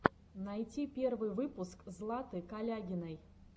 найти первый выпуск златы калягиной